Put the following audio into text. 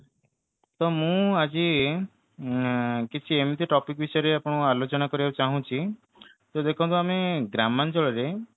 ତ ମୁଁ ଆଜି ଉଁ କିଛି ଏମିତି topic ବିଷୟରେ ଆପଣ ଆଲୋଚନା କରିବାକୁ ଚାହୁଛି ତ ଦେଖନ୍ତୁ ଆମେ ଗ୍ରାମାଞ୍ଚଳରେ